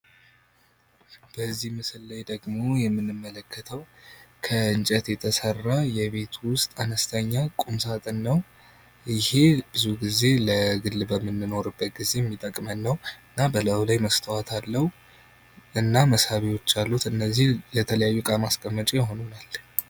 በዚህ ምስል ላይ ደግሞ የምንመለከተው ከንጨት የተሰራ የቤት ውስጥ አነስተኛ ቁምሳጥን ነው። ይሄ ብዙ ጊዜ ለግል በምንኖርበት ጊዜ ሚጠቅመን ነው። እና በላዩ ላይ መስታወት አለው እና መሳቢያዎች አሉት ። እነዚህ የተለያዩት እቃ ማስቀመጫ ይሆኑናል።